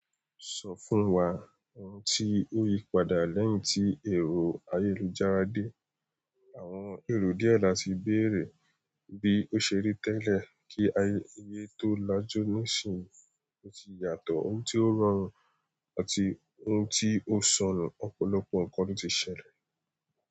Sọ fún wa ohun tí ó yí padà lẹ́yìn tí èrò ayélujára dé. Àwọn èrò díẹ̀ láti béèrè bí ó ṣe rí tẹ́lẹ̀ kí aye tó lajú níìsín, ó tì yàtọ̀ ohun tí ó rọrùn àti ohun tí ó ṣọnù. Ọ̀pọ̀lọpọ̀ ǹkan ló ti ṣẹlẹ̀